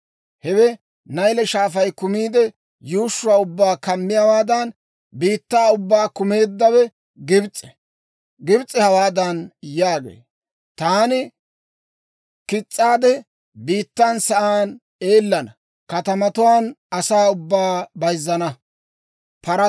Hewe Nayle Shaafay kumiide, yuushshuwaa ubbaa kumiyaawaadan, biittaa ubbaa kumeeddawe Gibs'e! Gibs'e hawaadan yaagee; ‹Taani kis's'aade, biittan sa'aan eellana; katamatuwaanne katamatuwaan asaa ubbaa bayzzana.